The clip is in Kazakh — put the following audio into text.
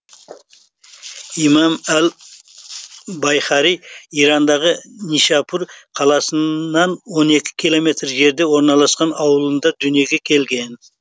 имам әл байһақи ирандағы нишапур қаласынан он екі километр жерде орналасқан ауылында дүниеге келген